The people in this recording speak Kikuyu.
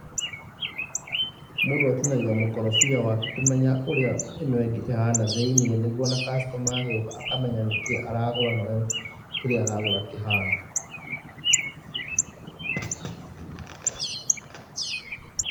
Mũndũ atinagia mũkorobia wake kũmenya ũrĩa ĩno ĩngĩ ĩhana thĩ-inĩ nĩguo ona customer agĩũka akamenya nĩkíĩ aragũra na ũrĩa kĩrĩa aragũra kĩhana